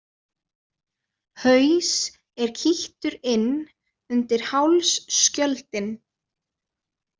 Haus er kýttur inn undir hálsskjöldinn.